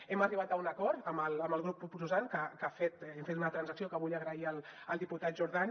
hem arribat a un acord amb el grup proposant que hem fet una transacció que vull agrair al diputat jordan